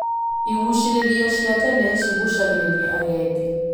Igucĩĩrĩrio cia tene ciguucĩrĩragia agendi.